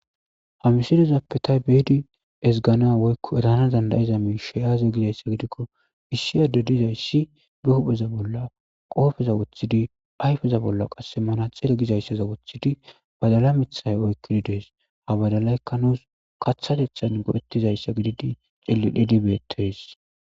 ha misidezappetaybeedi ezgana woykko etana dandayiza miisheyaaze gizayssa gidikko issi adde dizayssi be hupheza bolla qoofeza woththidi ayfeza bolla qasse mana xele gizayssaza woththidi badala mithay oykkidi dees habadalaykka nuus kathatethan godhettizayssa gididi xillidhidi beettes